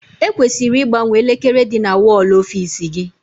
E kwesịrị igbanwe elekere dị na wọl ọfiisi gị.